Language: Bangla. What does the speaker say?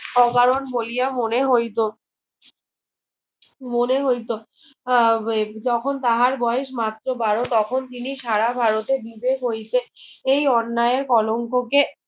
অকারণ বলিয়া মনে হয়তো মনে হয়তো আহ যখন তাহার বয়েস মাত্র বারো তখন তিনি সারা ভারতে বিবেক ঐক্যের এই অন্যায়ের কলঙ্ক কে